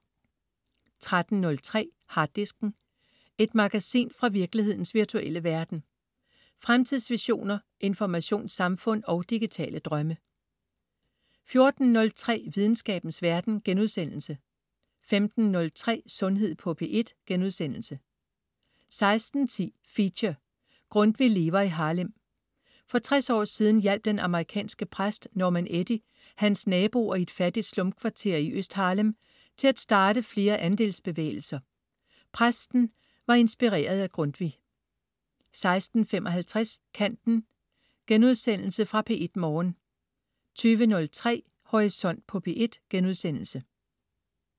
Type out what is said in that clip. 13.03 Harddisken. Et magasin fra virkelighedens virtuelle verden. Fremtidsvisioner, informationssamfund og digitale drømme 14.03 Videnskabens verden* 15.03 Sundhed på P1* 16.10 Feature: Grundtvig lever i Harlem. For 60 år siden hjalp den amerikanske præst Norman Eddy hans naboer i et fattigt slumkvarter i Øst Harlem til at starte flere andelsbevægelser. Præsten var inspireret af Grundtvig 16.55 Kanten.* Genudsendelse fra P1 morgen 20.03 Horisont på P1*